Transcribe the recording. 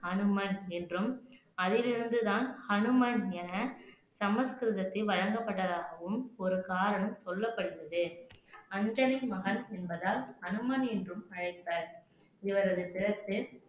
அனுமன் என்றும் அதிலிருந்துதான் ஹனுமன் என சமஸ்கிருதத்தில் வழங்கப்பட்டதாகவும் ஒரு காரணம் சொல்லப்படுகிறது அஞ்சனின் மகன் என்பதால் அனுமன் என்றும் அழைப்பர் இவரது பிறப்பு